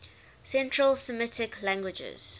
central semitic languages